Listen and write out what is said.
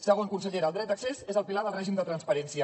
segon consellera el dret d’accés és el pilar del règim de transparència